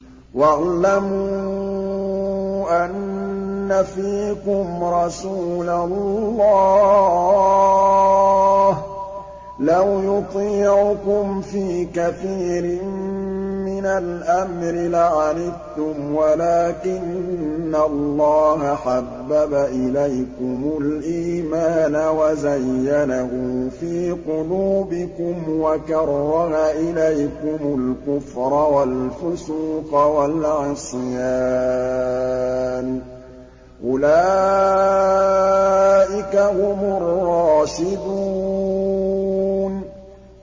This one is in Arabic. وَاعْلَمُوا أَنَّ فِيكُمْ رَسُولَ اللَّهِ ۚ لَوْ يُطِيعُكُمْ فِي كَثِيرٍ مِّنَ الْأَمْرِ لَعَنِتُّمْ وَلَٰكِنَّ اللَّهَ حَبَّبَ إِلَيْكُمُ الْإِيمَانَ وَزَيَّنَهُ فِي قُلُوبِكُمْ وَكَرَّهَ إِلَيْكُمُ الْكُفْرَ وَالْفُسُوقَ وَالْعِصْيَانَ ۚ أُولَٰئِكَ هُمُ الرَّاشِدُونَ